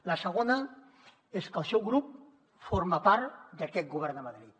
la segona és que el seu grup forma part d’aquest govern de madrid